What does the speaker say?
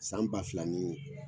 San ba fila nii